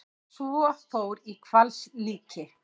Sá fór í hvalslíki.